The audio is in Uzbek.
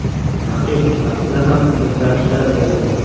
Raqib safida ham o‘zgarishlar bo‘ldi.